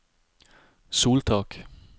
soltak